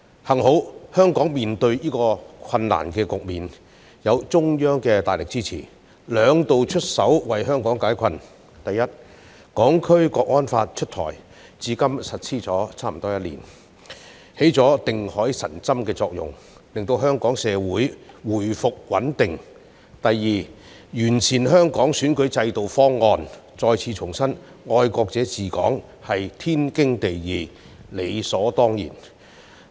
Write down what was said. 幸好，香港在面對這些困難時，有中央的大力支持，兩度出手為香港解困：第一，《香港國安法》出台，至今法例實施差不多一年，已發揮定海神針的作用，令香港社會回復穩定；第二，制訂完善香港選舉制度方案，再次重申愛國者治港是天經地義，理所當然。